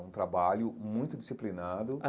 É um trabalho muito disciplinado.